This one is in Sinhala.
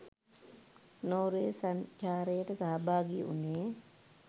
නෝර්වේ සංචාරයට සහභාගී වුනේ.